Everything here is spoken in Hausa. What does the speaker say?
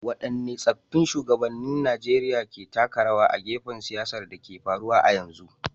Waɗanne tsaffin shugabannin Najeriya ke taka rawa a fagen siyasar da ke faruwa a yanzu.